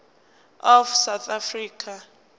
of south africa